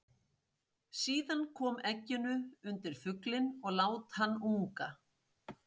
Síðan kom egginu undir fuglinn og lát hann unga.